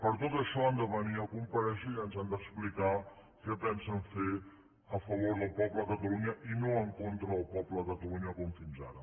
per tot això han de venir a comparèixer i ens han d’explicar què pensen fer a favor del poble de catalunya i no en contra del poble de catalunya com fins ara